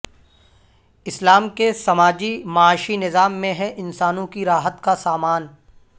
اسلام کے سماجی معاشی نظام میں ہے انسانون کی راحت کا سامان